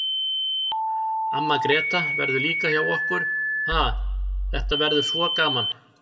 Amma Gréta verður líka hjá okkur, ha, þetta verður svo gaman.